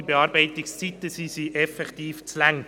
Die Bearbeitungszeit ist wirklich zu lange.